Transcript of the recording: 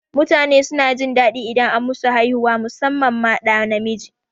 Mutane suna jin daɗi idan an musu haihuwa musamman ma ɗa namiji